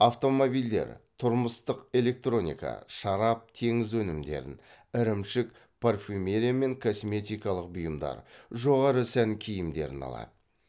автомобильдер тұрмыстық электроника шарап теңіз өнімдерін ірімшік парфюмерия мен косметикалық бұйымдар жоғары сән киімдерін алады